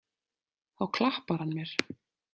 Þá klappar hann mér.